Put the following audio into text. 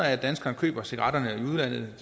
at danskerne køber cigaretterne